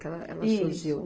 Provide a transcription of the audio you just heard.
Que ela, ela surgiu.